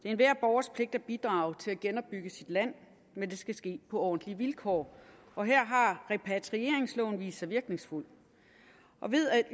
enhver borgers pligt at bidrage til at genopbygge sit land men det skal ske på ordentlige vilkår og her har repatrieringsloven vist sig virkningsfuldt og ved at